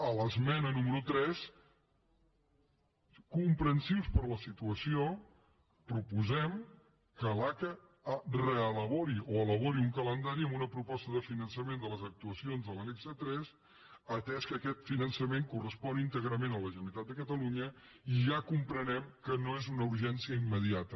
a l’esmena número tres comprensius per la situació proposem que l’aca reelabori o elabori un calendari amb una proposta de finançament de les actuacions de l’annex tres atès que aquest finançament correspon íntegrament a la generalitat de catalunya i ja comprenem que no és una urgència immediata